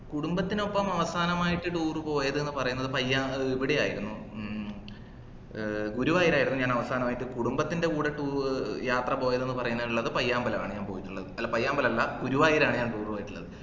കുടുംബത്തിനൊപ്പം അവസാനമായിട്ട് tour ഉ പോയത് എന്ന് പറയുന്നത് പയ്യ ഏർ ഇവിടെ ആയിരുന്നു മ്മ് ഏർ ഗുരുവായൂരായിരുന്നു ഞാൻ അവസാനമായിട്ട് കുടുംബത്തിന്റെ കൂടെ tour യാത്ര പോയത് ന്ന് പറയാനുള്ളത് പയ്യമ്പലാണ് ഞാൻ പോയിട്ടുള്ളത് അല്ല പയ്യാമ്പലല്ല ഗുരുവായൂരാണ് ഞാൻ tour പോയിട്ടുള്ളത്